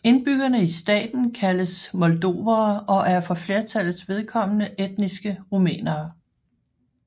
Indbyggerne i staten kaldes moldovere og er for flertallets vedkommende etniske rumænere